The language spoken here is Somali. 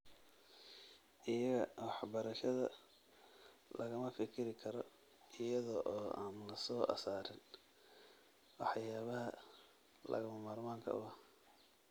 Iyaga, waxbarashada lagama fikiri karo iyada oo aan la soo saarin waxyaabaha lagama maarmaanka u ah.